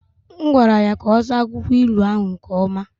M gwara ya ka ọ saa akwụkwọ ilu ahụ nke ọma.